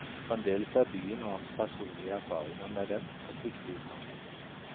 Fremdeles er byen og hans personlige erfaringer med den et viktig utgangspunkt.